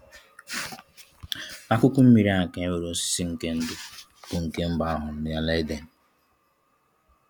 N'akụkụ mmiri a ka enwere osisi nke ndụ bụ nke mbụ ahụrụ n'ala Eden.